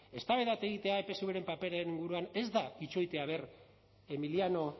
eztabaida bat egitea epsvren paperen inguruan ez da itxoitea a ver emiliano